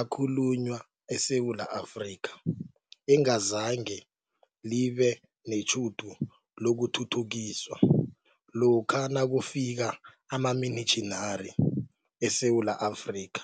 ekhalunywa eSewula Afrika, engazange libe netjhudu lokuthuthukiswa lokha nakufika amamitjhinari eSewula Afrika.